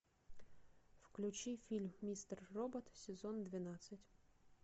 включи фильм мистер робот сезон двенадцать